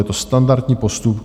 Je to standardní postup.